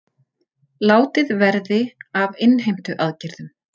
Látið verði af innheimtuaðgerðum